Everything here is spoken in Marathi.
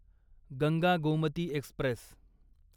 गंगा गोमती एक्स्प्रेस